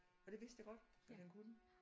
Og det vidste jeg godt at han kunne